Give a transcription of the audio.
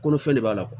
Kolo fɛn de b'a la